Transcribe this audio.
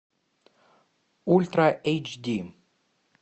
ультра эйч ди